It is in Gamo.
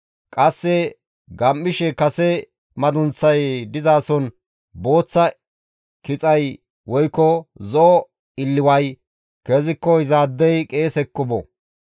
qasse gam7ishe kase madunththay dizason booththa kixay woykko zo7o illiway keziko izaadey qeesekko bo.